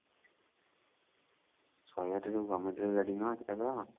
ଶହେ ଆଠ ଯଉ government ର ଗାଡି ନୁହଁ ସେଟା ତ